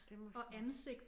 Det må sgu